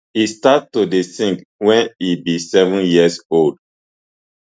e start to dey sing wen e be seven years old